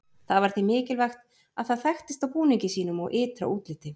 Það var því mikilvægt að það þekktist á búningi sínum og ytra útliti.